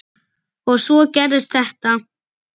Og svo gerist þetta.